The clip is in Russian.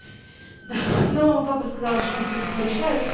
но папа сказал что он всех порешает